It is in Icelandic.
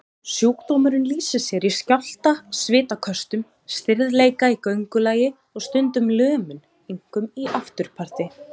Sjúkdómurinn lýsir sér í skjálfta, svitaköstum, stirðleika í göngulagi og stundum lömun, einkum í afturparti.